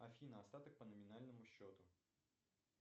афина остаток по номинальному счету